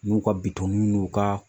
N'u ka bitɔnni n'u ka